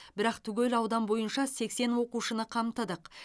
бірақ түгел аудан бойынша сексен оқушыны қамтыдық